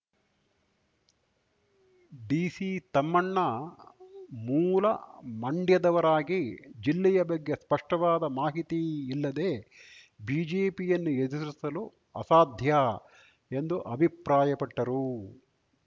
DC Thammanna ಮೂಲ ಮಂಡ್ಯದವರಾಗಿ ಜಿಲ್ಲೆಯ ಬಗ್ಗೆ ಸ್ಪಷ್ಟವಾದ ಮಾಹಿತಿಯಿಲ್ಲದೆ ಬಿಜೆಪಿಯನ್ನು ಎದುರಿಸಲು ಅಸಾಧ್ಯ ಎಂದು ಅಭಿಪ್ರಾಯಪಟ್ಟರು